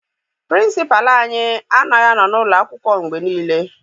Pịrịnsịpalụ anyị anaghị anọ n'ụlọ akwụkwọ mgbe niile.